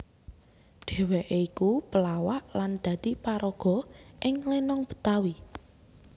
Dheweké iku pelawak lan dadi paraga ing lenong Betawi